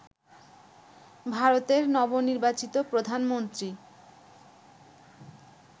ভারতের নবনির্বাচিত প্রধানমন্ত্রী